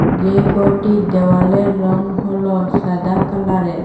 যেই গরটির দেওয়ালের রং হলো সাদা কালারের।